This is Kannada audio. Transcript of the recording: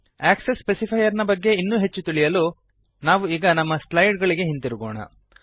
ಆಕ್ಸೆಸ್ ಸ್ಪೆಸಿಫೈಯರ್ ನ ಬಗೆಗೆ ಇನ್ನೂ ಹೆಚ್ಚು ತಿಳಿಯಲು ನಾವು ಈಗ ನಮ್ಮ ಸ್ಲೈಡ್ ಗಳಿಗೆ ಹಿಂದಿರುಗೋಣ